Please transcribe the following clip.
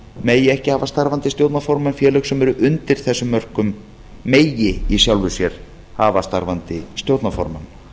megi ekki hafa starfandi stjórnarformann félög sem eru undir þessum mörkum megi í sjálfu sér hafa starfandi stjórnarformann